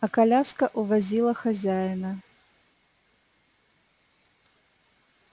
а коляска увозила хозяина